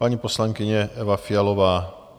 Paní poslankyně Eva Fialová.